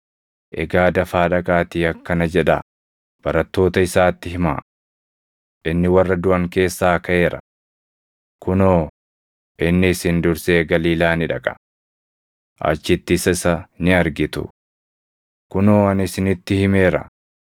Egaa dafaa dhaqaatii akkana jedhaa barattoota isaatti himaa; ‘Inni warra duʼan keessaa kaʼeera; kunoo, inni isin dursee Galiilaa ni dhaqa. Achittis isa ni argitu.’ Kunoo ani isinitti himeera.”